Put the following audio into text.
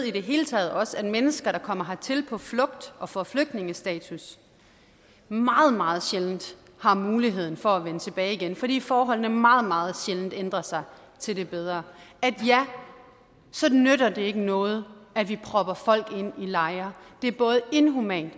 i det hele taget også ved at mennesker der kommer hertil på flugt og får flygtningestatus meget meget sjældent har muligheden for at vende tilbage igen fordi forholdene meget meget sjældent ændrer sig til det bedre så nytter det ikke noget at vi propper folk ind i lejre det er både inhumant